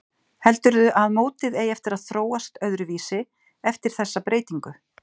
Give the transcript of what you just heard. Heldurðu að mótið eigi eftir að þróast öðruvísi eftir þessa breytingu?